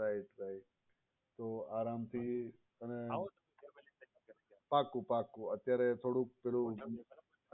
right right તો આરામથી પાકું પાકું એ થોડુંક પેહલું